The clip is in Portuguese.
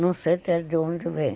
Não sei até de onde vem.